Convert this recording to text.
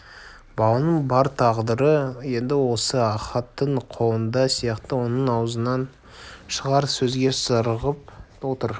баланың бар тағдыры енді осы ахаттың қолында сияқты оның аузынан шығар сөзге зарығып отыр